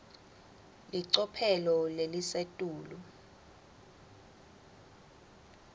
licophelo lelisetulu